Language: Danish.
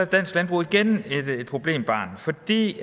dansk landbrug igen et problembarn fordi